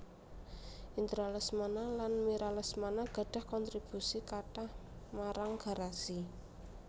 Indra Lesmana lan Mira Lesmana gadhah kontribusi kathah marang Garasi